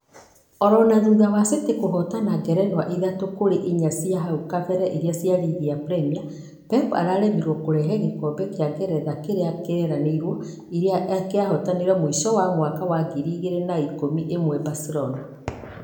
OʻlOna thutha wa city kũhotana ngerenwa ithatũ kũrĩ iria inya cia hau kabere cia rigi ya premier. Pep araremirwo kũrehe gĩkobe gĩa ngeretha kĩrĩ kĩrireirwo ĩrĩa arahotqnire mũisho mwaka wa ngiri igĩrĩ na ikũmi na ĩmwe barcelona.